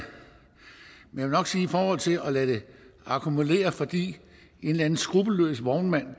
men i forhold til at lade det akkumulere fordi en eller anden skruppelløs vognmand